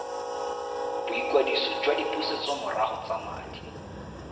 boikwadiso jwa dipusetsomorago tsa madi